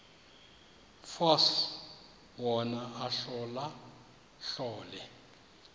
force wona ahlolahlole